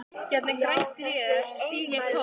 Gegnum grænt rör sýg ég kók.